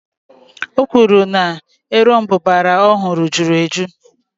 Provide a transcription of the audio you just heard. O kwuru na erombubara ọ hụrụ jụrụ ejụ́